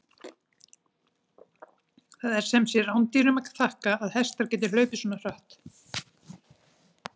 Það er sem sé rándýrunum að þakka að hestar geta hlaupið svona hratt!